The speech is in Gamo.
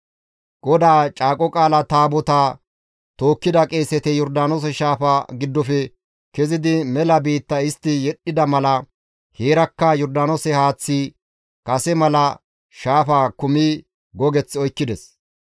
GODAA Caaqo Qaala Taabotaa tookkida qeeseti Yordaanoose shaafa giddofe kezidi mela biitta istti yedhdhida mala heerakka Yordaanoose haaththay kase mala shaafaa kumidi gogeth oykkides.